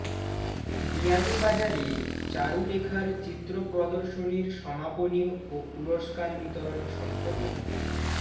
বিয়ানীবাজারে চারুলেখার চিত্র প্রদর্শনীর সমাপনী ও পুরস্কার বিতরণ সম্পন্ন